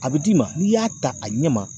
A bi d'i ma n'i y'a ta a ɲɛ ma